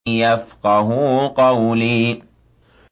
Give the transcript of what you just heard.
يَفْقَهُوا قَوْلِي